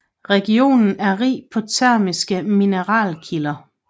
Regionen er rig på termiske mineralkilder